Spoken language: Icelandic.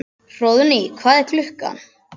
Hróðný, hvað er klukkan?